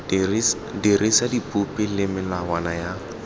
dirisa dipopi le melawana ya